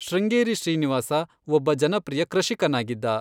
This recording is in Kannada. ಶೃಂಗೇರಿ ಶ್ರೀನಿವಾಸ, ಒಬ್ಬ ಜನಪ್ರಿಯ ಕೃಷಿಕನಾಗಿದ್ದ.